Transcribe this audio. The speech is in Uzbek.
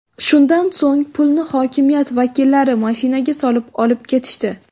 Shundan so‘ng pulni hokimiyat vakillari mashinaga solib, olib ketishdi.